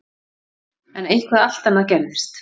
En eitthvað allt annað gerðist.